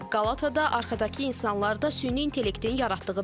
Qalatada arxadakı insanlar da süni intellektin yaratdığıdır.